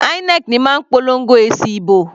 INEC ní máa ń polongo èsì ìbò.